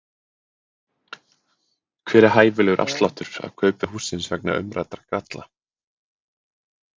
Hver er hæfilegur afsláttur af kaupverði hússins vegna umræddra galla?